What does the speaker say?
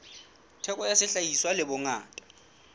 theko ya sehlahiswa le bongata